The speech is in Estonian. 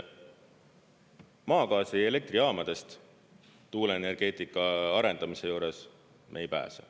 Nii et maagaasi elektrijaamadest tuuleenergeetika arendamise juures me ei pääse.